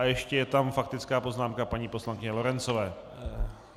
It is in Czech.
A ještě je tam faktická poznámka paní poslankyně Lorencové.